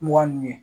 Mugan ni